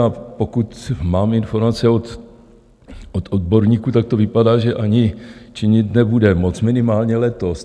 A pokud mám informace od odborníků, tak to vypadá, že ani činit nebude moct, minimálně letos.